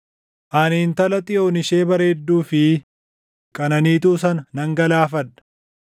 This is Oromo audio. Ani Intala Xiyoon ishee bareedduu fi qananiituu sana nan galaafadha.